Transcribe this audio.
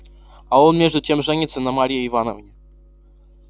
а он между тем женится на марье ивановне